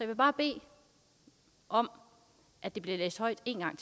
vil bare bede om at det bliver læst højt en gang